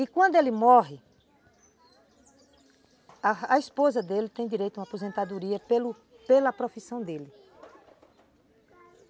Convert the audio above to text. E quando ele morre, a esposa dele tem direito a uma aposentadoria pelo pela profissão dele.